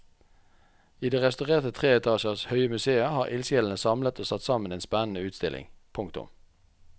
I det restaurerte tre etasjer høye museet har ildsjelene samlet og satt sammen en spennende utstilling. punktum